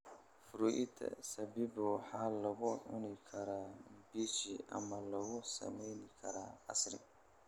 Fruita zabibu waxaa lagu cuni karaa mbichi ama lagu sameyn karaa casiir.